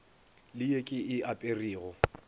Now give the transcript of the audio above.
le ye ke e aperego